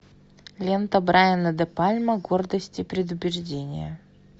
лента брайана де пальма гордость и предубеждение